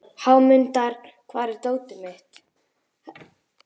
Hámundur, hvar er dótið mitt?